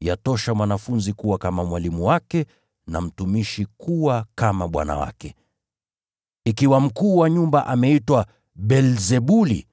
Yatosha mwanafunzi kuwa kama mwalimu wake, na mtumishi kuwa kama bwana wake. Ikiwa mkuu wa nyumba ameitwa Beelzebuli,